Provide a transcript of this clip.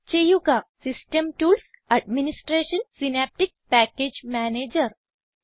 click ചെയ്യുക system tools administration synaptic package manager